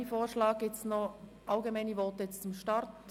Gibt es noch allgemeine Voten zum Start?